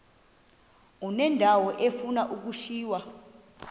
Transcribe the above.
uneendawo ezifuna ukushiywa